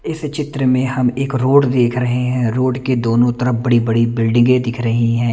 इस चित्र में हम एक रोड देख रहे हैं रोड के दोनों तरफ बड़ी-बड़ी बिल्डिंगे दिख रही हैं।